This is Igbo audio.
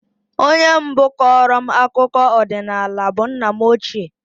Onye mbụ kọọrọ m akụkọ ọdịnala bụ nna m ochie